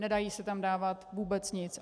Nedá se tam dávat vůbec nic.